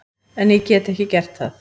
En ég get ekki gert það.